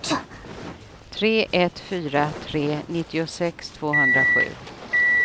tre ett fyra tre nittiosex tvåhundrasju